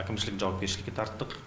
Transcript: әкімшілік жауапкершілікке тарттық